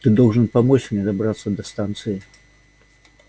ты должен помочь мне добраться до станции